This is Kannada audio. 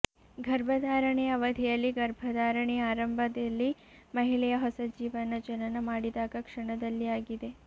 ಗರ್ಭಧಾರಣೆಯ ಅವಧಿಯಲ್ಲಿ ಗರ್ಭಧಾರಣೆಯ ಆರಂಭದಲ್ಲಿ ಮಹಿಳೆಯ ಹೊಸ ಜೀವನ ಜನನ ಮಾಡಿದಾಗ ಕ್ಷಣದಲ್ಲಿ ಆಗಿದೆ